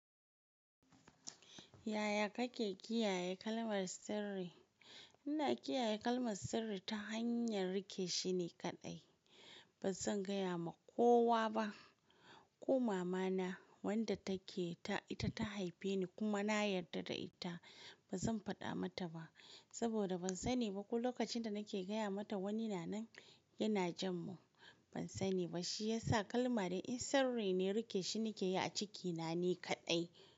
Yaya kake kiyaye kalmar sirri? Ina kiyaye kalmar sirri ta hanyar rike shine kaɗai. Ba zan gaya wa kowa ba, ko mama na wadda take ita ta haife ni kuma na yarda da ita. Ba zan faɗa mata ba saboda ban sani ba ko lokacin da nake gaya mata wani na nan yana jin mu. Ban sani ba shi yasa kalma dai in sirri ne rike shi ke yi a cikina ni kaɗai.